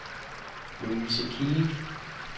Louise Kilic